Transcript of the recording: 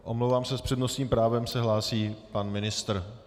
Omlouvám se, s přednostním právem se hlásí pan ministr.